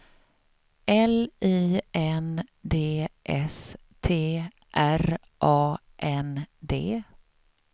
L I N D S T R A N D